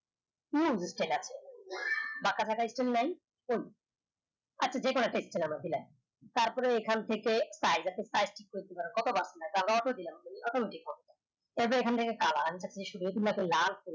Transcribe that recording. বাকা ফাকা skill নাই আচ্ছা যে কয়টা Text ছিলো আমরা দিলাম তার পরে এখানে থেকে automatic হবে